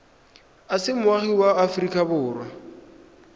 o se moagi wa aforika